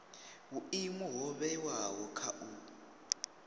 vhuimo ho vhewaho kha u